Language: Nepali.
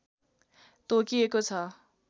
तोकिएको छ